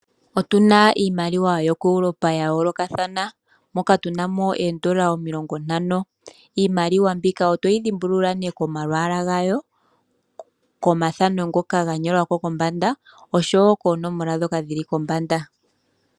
Otuna iimaliwa yokoeuropa ya yoolokathana moka tuna mo oondola omilongo ntano. Iimaliwa mbika oto yi dhimbulula nee komalwaala gayo, komathano ngoka ga nyolwa ko kombanda oshowo koonomola ndhoka dhili kombanda.